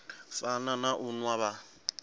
fana na u nwa vha